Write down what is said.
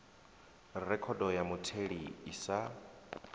rekhodo ya mutheli i sa